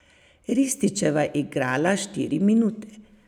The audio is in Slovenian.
Rističeva je igrala štiri minute.